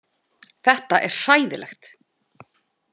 Þetta er hræðilegt.